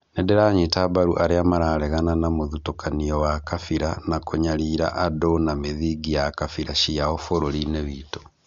nĩndĩranyita mbaru arĩa mararegana na mũthutũkanio wa kabira na kũnyarira andũ na mĩthingi ya kabira ciao bũrũri-inĩ witũ